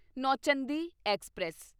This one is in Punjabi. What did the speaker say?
ਨੌਚੰਦੀ ਐਕਸਪ੍ਰੈਸ